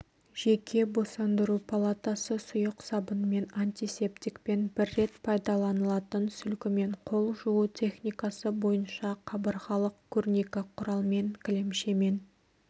жеке босандыру палатасы сұйық сабынмен антисептикпен бір рет пайдаланылатын сүлгімен қол жуу техникасы бойынша қабырғалық көрнекі құралмен кілемшемен